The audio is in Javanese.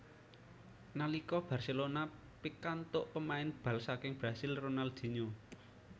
Nalika Barcelona pikantuk pemain bal saking Brasil Ronaldinho